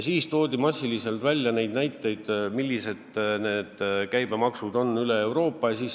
Siis toodi massiliselt näiteid, millised on käibemaksud üle Euroopa.